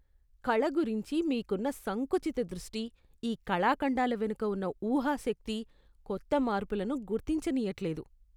కళ గురించి మీకున్న సంకుచిత దృష్టి ఈ కళాఖండాల వెనుక ఉన్న ఊహా శక్తి, కొత్త మార్పులను గుర్తించనీయట్లేదు.